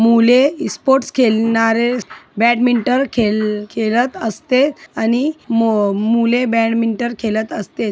मुले ईस्पोर्ट्स खेलणारे बॅडमिंटन खेल खेलत असते आणि मु मुले बॅडमिंटन खेलत असते.